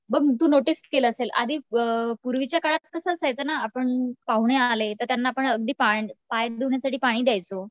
बघ तू नोटीस केलं असेल आधी अ पूर्वीच्या काळात कसं असायचं ना आपण पाहुणे आले तर त्यांना आपण अगदी पाय पाणी धुण्यासाठी पण पाणी द्यायचो.